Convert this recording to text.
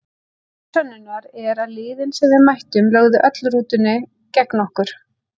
Því til sönnunar er að liðin sem við mættum lögðu öll rútunni gegn okkur,